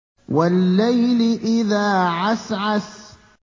وَاللَّيْلِ إِذَا عَسْعَسَ